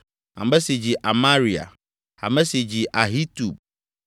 ame si dzi Amaria, ame si dzi Ahitub,